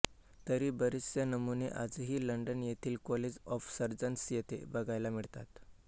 तरी बरेचसे नमुने आजही लंडनयेथील कॉलेज ऑफ सर्जन्स येथे बघायला मिळतात